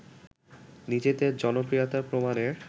নিজেদের জনপ্রিয়তা প্রমাণের